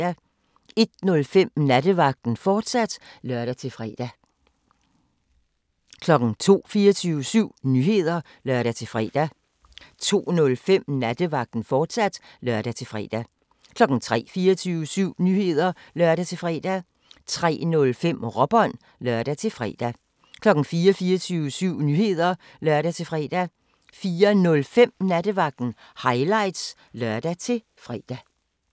01:05: Nattevagten, fortsat (lør-fre) 02:00: 24syv Nyheder (lør-fre) 02:05: Nattevagten, fortsat (lør-fre) 03:00: 24syv Nyheder (lør-fre) 03:05: Råbånd (lør-fre) 04:00: 24syv Nyheder (lør-fre) 04:05: Nattevagten Highlights (lør-fre)